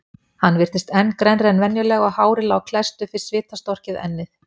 Hann virtist enn grennri en venjulega og hárið lá klesst upp við svitastorkið ennið.